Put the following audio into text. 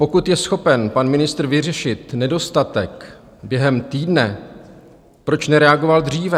Pokud je schopen pan ministr vyřešit nedostatek během týdne, proč nereagoval dříve?